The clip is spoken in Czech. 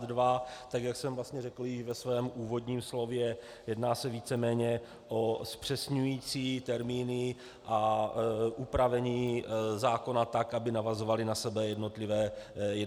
Tak jak jsem vlastně řekl již ve svém úvodním slově, jedná se víceméně o zpřesňující termíny a upravení zákona tak, aby navazovaly na sebe jednotlivé odstavce.